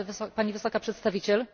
Pani Wysoka Przedstawiciel!